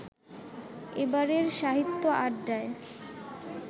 এবারের সাহিত্য আড্ডায়